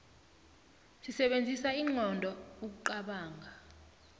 sisebenzisa inqondo ukuqobonga